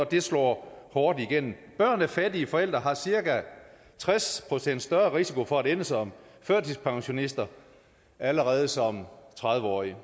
det slår hårdt igennem børn af fattige forældre har cirka tres procent større risiko for at ende som førtidspensionister allerede som tredive årige